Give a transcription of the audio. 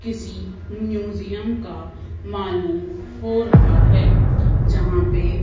किसी म्यूजियम का मालूम हो रहा है। जहां पे--